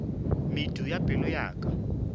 medu ya pelo ya ka